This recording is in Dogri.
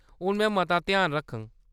हून में मता ध्यान रक्खङ।